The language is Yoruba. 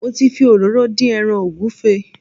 Mo ti fi òróró dín ẹran ògúnfe